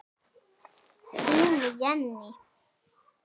Þín Jenný.